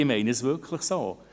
Ich meine es wirklich so.